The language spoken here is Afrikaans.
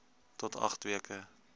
tot agt weke